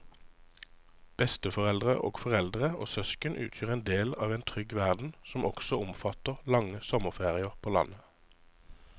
Besteforeldre og foreldre og søsken utgjør en del av en trygg verden som også omfatter lange sommerferier på landet.